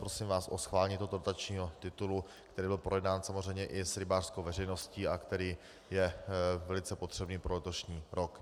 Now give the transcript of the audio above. Prosím vás o schválení tohoto dotačního titulu, který byl projednán samozřejmě i s rybářskou veřejností a který je velice potřebný pro letošní rok.